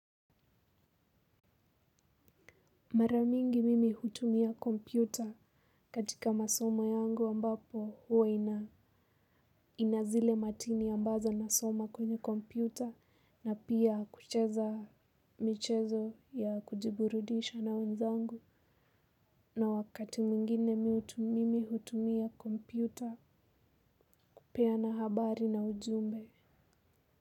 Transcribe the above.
Maramingi mimi hutumia kompyuta katika masoma yangu ambapo huwa nazile matini ambazo nasoma kwenye kompyuta na pia kucheza michezo ya kujiburudisha na wenzangu na wakati mwingine mihutu mimi hutumia kompyuta kupea na habari na ujumbe.